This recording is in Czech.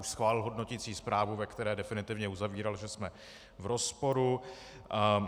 Už schválil hodnoticí zprávu, ve které definitivně uzavíral, že jsme v rozporu.